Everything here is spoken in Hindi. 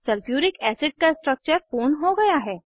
सल्फ्यूरिक एसिड का स्ट्रक्चर पूर्ण हो गया है